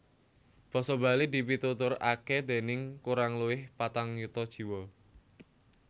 Basa Bali dipituturaké déning kurang luwih patang yuta jiwa